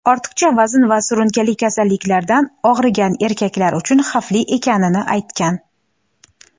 ortiqcha vazn va surunkali kasalliklardan og‘rigan erkaklar uchun xavfli ekanini aytgan.